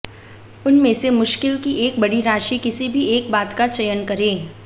उनमें से मुश्किल की एक बड़ी राशि किसी भी एक बात का चयन करें